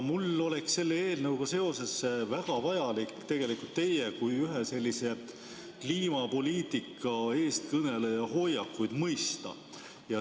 Mul oleks selle eelnõuga seoses väga vajalik tegelikult teie kui ühe kliimapoliitika eestkõneleja hoiakuid mõista.